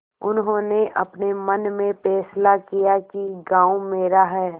उन्होंने अपने मन में फैसला किया कि गॉँव मेरा है